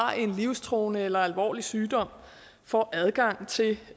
har en livstruende eller alvorlig sygdom får adgang til